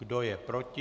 Kdo je proti?